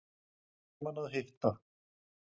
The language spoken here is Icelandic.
Gaman að hitta